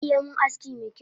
Zaka iya min aski mekyau?